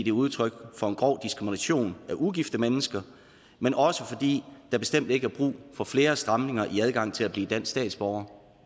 er udtryk for en grov diskrimination af ugifte mennesker men også fordi der bestemt ikke er brug for flere stramninger i adgang til at blive dansk statsborger